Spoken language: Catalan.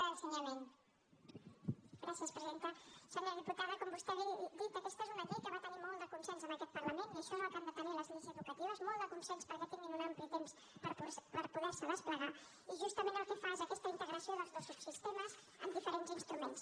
senyora diputada com vostè bé ha dit aquesta és una llei que va tenir molt de consens en aquest parlament i això és el que han de tenir les lleis educatives molt de consens perquè tinguin un ampli temps per poder se desplegar i justament el que fa és aquesta integració dels dos subsistemes amb diferents instruments